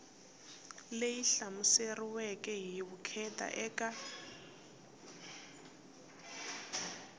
leyi hlamuseriweke hi vukheta eka